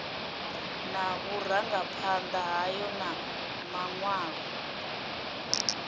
na vhurangaphanda hayo na manwalo